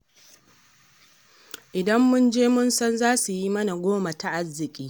Idan mun je mun san za su yi mana goma ta arziƙi.